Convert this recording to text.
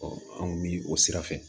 anw bi o sira fɛ